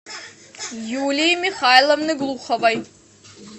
юлии михайловны глуховой